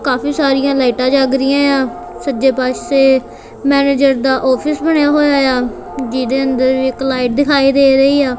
ਕਾਫੀ ਸਾਰੀਆਂ ਲਾਈਟਾਂ ਜਗ ਰਹੀਆਂ ਆ ਸੱਜੇ ਪਾਸੇ ਮੈਨੇਜਰ ਦਾ ਆਫਿਸ ਬਣਾਇਆ ਹੋਇਆ ਆ ਜਿਹਦੇ ਅੰਦਰ ਵੀ ਇੱਕ ਲਾਈਟ ਦਿਖਾਈ ਦੇ ਰਹੀ ਆ।